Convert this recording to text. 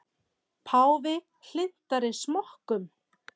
Páfi hlynntari smokkum